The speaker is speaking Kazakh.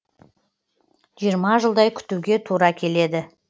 жиырма жылдай күтуге тура келеді